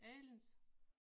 Anderledes